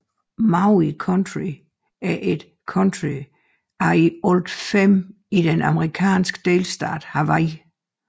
Maui County er et county af i alt fem i den amerikanske delstat Hawaii